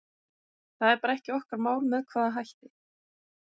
Það er bara ekki okkar mál með hvaða hætti